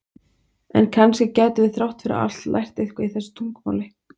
En kannski gætum við þrátt fyrir allt lært eitthvað í þessu tungumáli?